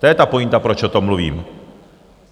To je ta pointa, proč o tom mluvím.